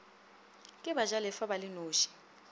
ke bajalefa ba le noši